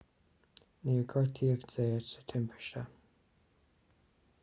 níor gortaíodh zayat sa timpiste